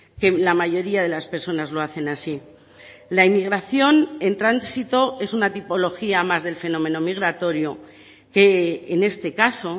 que la mayoría de las personas lo hacen así la inmigración en tránsito es una tipología más del fenómeno migratorio que en este caso